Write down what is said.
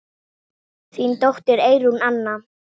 Þín dóttir, Eyrún Anna.